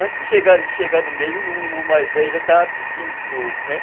Antes de chegar chegar no meio, o o mais velho já estava pedindo de novo, né.